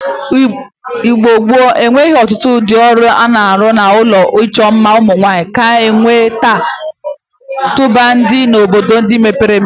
Igbo gboo enweghi otutu udi oru ana-aru n'ulo icho mma umunwanyi ka enwe taa tumadi n"obodo ndi mebere emepe